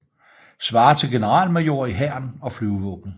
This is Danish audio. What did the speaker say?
Svarer til generalmajor i Hæren og Flyvevåbnet